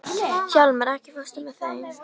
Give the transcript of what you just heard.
Hjálmar, ekki fórstu með þeim?